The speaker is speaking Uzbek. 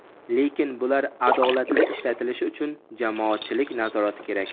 lekin bular adolatli ishlatilishi uchun jamoatchilik nazorati kerak.